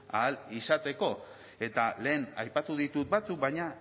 ahal izateko eta lehen aipatu ditu batzuk baina